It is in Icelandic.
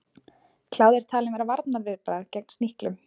Kláði er talinn vera varnarviðbragð gegn sníklum.